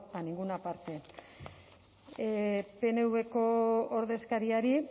a ninguna parte pnvko ordezkariari